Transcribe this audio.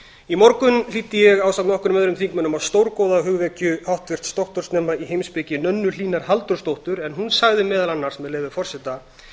í morgun hlýddi ég ásamt nokkrum öðrum þingmönnum á stórgóða hugvekju háttvirts doktorsnema í heimspeki önnu hlínar halldórsdóttur en hún sagði meðal annars með leyfi forseta